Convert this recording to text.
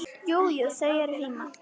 Jú, jú. þau eru heima.